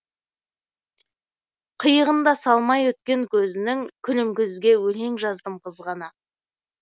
қиығын да салмай өткен көзінің күлімкөзге өлең жаздым қызғана